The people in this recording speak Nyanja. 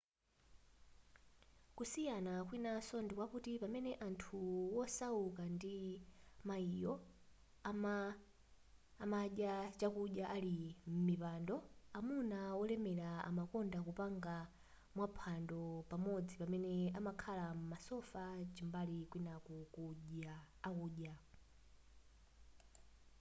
kusiyana kwinanso ndikwakuti pamene anthu wosauka ndi mayiyo amadya chakudya ali m'mipando amuna wolemera amakonda kupanga maphwando pamodzi pamene amakhala m'masofa cham'mbali kwinaku akudya